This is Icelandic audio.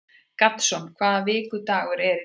Gaston, hvaða vikudagur er í dag?